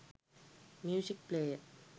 music player